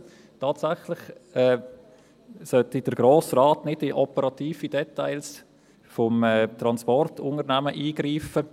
Tatsächlich sollte der Grosse Rat nicht in operative Details des Transportunternehmens eingreifen.